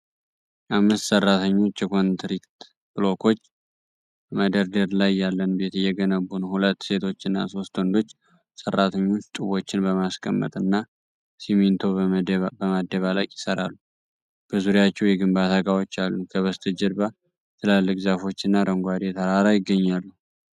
አምስት ሰራተኞች የኮንክሪት ብሎኮች በመደርደር ላይ ያለን ቤት እየገነቡ ነው። ሁለት ሴቶችና ሦስት ወንዶች ሰራተኞች ጡቦችን በማስቀመጥ እና ሲሚንቶ በማደባለቅ ይሠራሉ፤ በዙሪያቸው የግንባታ እቃዎች አሉ። ከበስተጀርባ ትላልቅ ዛፎች እና አረንጓዴ ተራራ ይገኛሉ።